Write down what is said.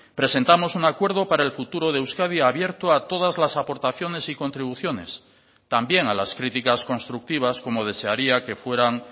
presentamos un acuerdo para el futuro de euskadi abierto a todas las aportaciones y contribuciones también a las críticas constructivas como desearía que fueran